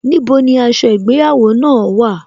Níbo ni aṣọ ìgbéyàwó náà wà?